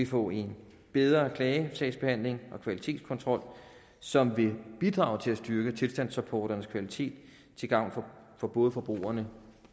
få en bedre klagesagsbehandling og kvalitetskontrol som vil bidrage til at styrke tilstandsrapporternes kvalitet til gavn for både forbrugerne